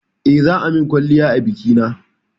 Eh, za a min kwalliya a bikina